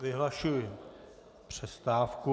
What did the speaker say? Vyhlašuji přestávku.